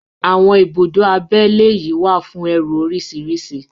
Àwọn ibùdó abẹ́lé yìí wà fún ẹrù oríṣìíríṣìí.